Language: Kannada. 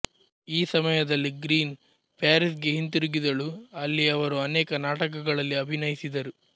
ಈ ಸಮಯದಲ್ಲಿ ಗ್ರೀನ್ ಪ್ಯಾರಿಸ್ಗೆ ಹಿಂತಿರುಗಿದಳು ಅಲ್ಲಿ ಅವರು ಅನೇಕ ನಾಟಕಗಳಲ್ಲಿ ಅಭಿನಯಿಸಿದರು